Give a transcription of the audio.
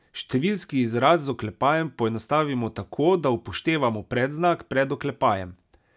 Številski izraz z oklepajem poenostavimo tako, da upoštevamo predznak pred oklepajem.